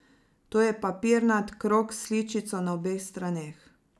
To je papirnat krog s sličico na obeh straneh.